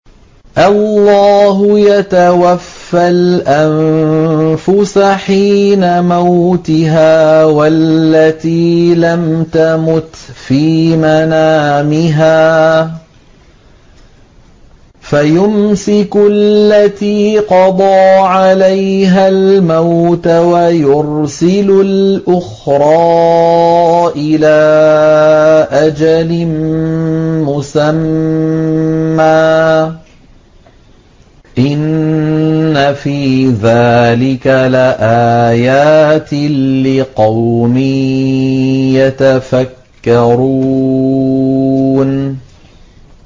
اللَّهُ يَتَوَفَّى الْأَنفُسَ حِينَ مَوْتِهَا وَالَّتِي لَمْ تَمُتْ فِي مَنَامِهَا ۖ فَيُمْسِكُ الَّتِي قَضَىٰ عَلَيْهَا الْمَوْتَ وَيُرْسِلُ الْأُخْرَىٰ إِلَىٰ أَجَلٍ مُّسَمًّى ۚ إِنَّ فِي ذَٰلِكَ لَآيَاتٍ لِّقَوْمٍ يَتَفَكَّرُونَ